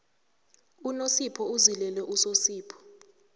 unosipho uzilele usosipho